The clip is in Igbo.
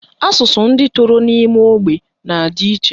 Asụsụ ndị toro n'ime ógbè na-adị iche